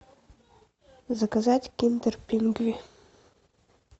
заказать киндер пингви